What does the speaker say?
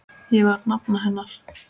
Ég var nafna hennar.